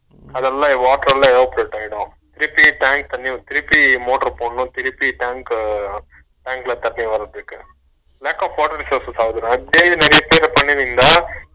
அதுல்லா water எல்லா evaporate ஆகிடு திருப்பி tank கம்மியாகிரும் திரும்பி motor போடணும் திரும்பி tank உம் tank ல தண்ணி வரதுக்கு lack of water resources அகுதுணா அப்பிடியே நிறையபேரு பண்ணுவிங்களா